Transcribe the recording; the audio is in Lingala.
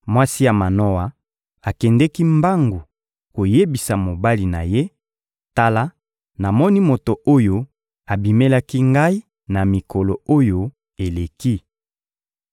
Mwasi ya Manoa akendeki mbangu koyebisa mobali na ye: «Tala, namoni moto oyo abimelaki ngai na mikolo oyo eleki!»